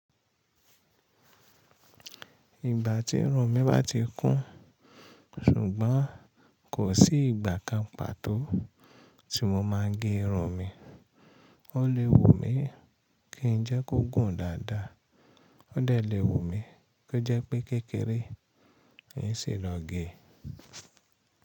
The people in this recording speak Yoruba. Ìgbà tí irun mi bá ti kún, ṣùgbọ́n kò sí ìgbà kan pàtó tí mo máa ń gé irun mi. Ó lè wù mí kí n jẹ́ kó gùn dáadáa, ó dẹ̀ lè wù mí ko jẹ́ pé kékeré, è n sì lọ gé.